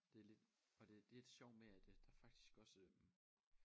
Det og det lidt sjovt med at der faktisk også